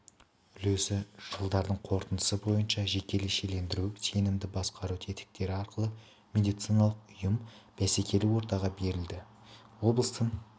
үлесі жылдардың қорытындысы бойынша жекешелендіру сенімді басқару тетіктері арқылы медициналық ұйым бәсекелі ортаға берілді облыстың